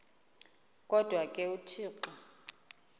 kodwa ke uthixo